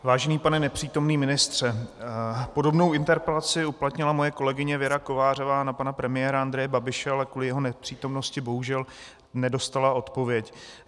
Vážený pane nepřítomný ministře, podobnou interpelaci uplatnila moje kolegyně Věra Kovářová na pana premiéra Andreje Babiše, ale kvůli jeho nepřítomnosti bohužel nedostala odpověď.